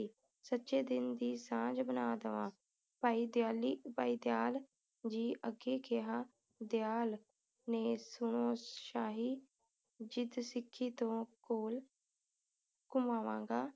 ਸਚੇ ਦੀਨ ਦੀ ਸਾਂਝ ਬਣਾ ਦਵਾ ਭਾਈ ਦ੍ਯਾਲੀ ਭਾਈ ਦਯਾਲ ਜੀ ਅੱਗੇ ਕਿਹਾ ਦਯਾਲ ਨੇ ਸੁਣੋ ਸ਼ਾਹੀ ਜਿੱਦ ਸਿੱਖੀ ਤੋਂ ਘੋਲ ਘੁਮਾਵਾਂਗਾ